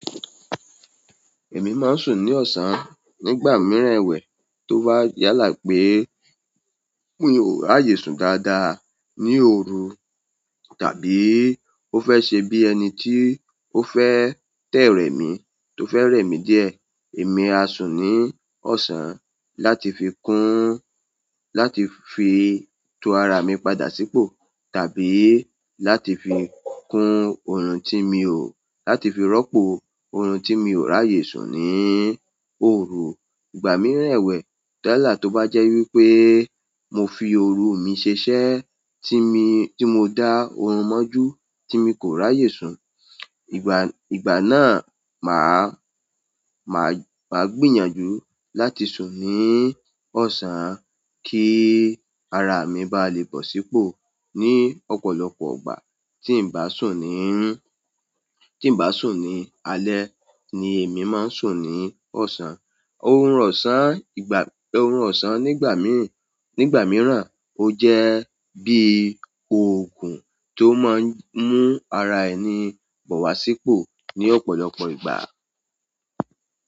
Èmi máa ń sùn ní ọ̀sán nígbà mìíràn ẹwẹ̀ tó bá yálà pé mi o raàyè sùn dáadáa ní òru tàbí ó fẹ́ ṣe bí ẹni tí ó fẹ́ dẹ́ rẹ̀mí tó fẹ́ rẹ̀mí díẹ̀. Èmi á sùn ní ọ̀sán láti fi kún, láti fi tú ara mi padà sípò tàbí láti fi kún ohun tí mi ò, láti fi rọ́pò oorun tí mi ò ráyè sùn ní òru. Ìgbà mìíràn ẹwẹ̀, yálà tó bá jẹ́ wípé mo fi òru mí ṣeṣẹ́ tí mo dá oorun mọ́jú tí mi kò ráyè sùn, ìgbà, ìgbà náà mà á, mà á gbìyànjú láti sùn ní ọ̀sán kí ara mi bá lè bọ̀ sípò ní ọ̀pọ̀lọpọ̀ ìgbà tí ń bá sùn ní, tí ń bá sùn ní alẹ́ ni èmi máa ń sùn ní ọ̀sán. Ohun ọ̀sán ìgbà, ohun ọ̀sán nígbà mìíràn, ó jẹ́ bí òògùn tó máa ń mú ara ẹni bọ̀ wá sípò ní ọ̀pọ̀lọpọ̀ ìgbà.